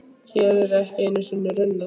Hér eru ekki einu sinni runnar.